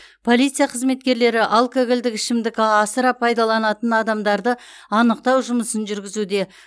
полиция қызметкерлері алкогольдік ішімдікті а асыра пайдаланатын адамдарды анықтау жұмысын жүргізуде